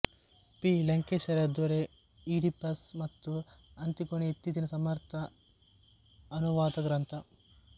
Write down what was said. P ಲಂಕೇಶರ ದೊರೆ Oedipus ಮತ್ತು ಅಂತಿಗೊನೆ ಇತ್ತೀಚಿನ ಸಮರ್ಥ ಅನುವಾದ ಗ್ರಂಥ